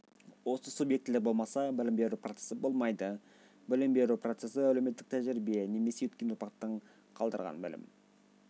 осы субъектілер болмаса білім беру процесі болмайды білім беру процесі əлеуметтік тəжірибе немесе өткен ұрпақтың қалдырған білім